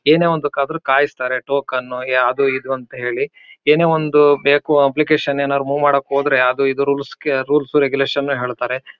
ಅದೂ ಒಂದು ಎರಡು ಮೂರು ದಾ ತಿಂಗಳು ಎರಡ್ ಮೂರು ವರ್ಷ ಅಷ್ಟೇ ಇದು ಇದರ ವ್ಯಾಲ್ಯೂ ಇರೋದು ಅತಿ ಇದಾಗಿ ಉಳಿಬೇಕು ಅಂತಂದ್ರೆ ನಮಗೇನಿದ್ರೂ ಕಲ್ಲು ಕ್ರ್ಯಾಂಗ್ ಇರುತ್ತಲ್ಲ ಅದರಿಂದನೇ ತುಂಬಾನೇ ಉಪಯೋಗ.